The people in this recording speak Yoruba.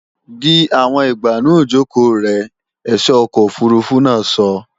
Di àwọn ìgbànú ìjòkò rẹ, ẹ̀só ọkọ̀ òfurufú náà sọ!